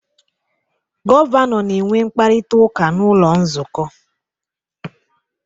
Gọvanọ na-enwe mkparịta ụka n'ụlọ nzukọ